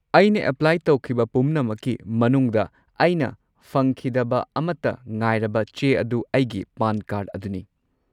ꯑꯩꯅ ꯑꯦꯄ꯭ꯂꯥꯏ ꯇꯧꯈꯤꯕ ꯄꯨꯝꯅꯃꯛꯀꯤ ꯃꯅꯨꯡꯗ, ꯑꯩꯅ ꯐꯪꯈꯤꯗꯕ ꯑꯃꯠꯇ ꯉꯥꯏꯔꯕ ꯆꯦ ꯑꯗꯨ ꯑꯩꯒꯤ ꯄꯥꯟ ꯀꯥꯔꯗ ꯑꯗꯨꯅꯤ꯫